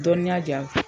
Dɔnniya di yan